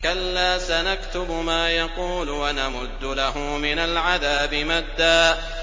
كَلَّا ۚ سَنَكْتُبُ مَا يَقُولُ وَنَمُدُّ لَهُ مِنَ الْعَذَابِ مَدًّا